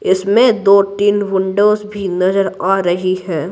इसमें दो-तीन विंडोस भी नजर आ रही हैं।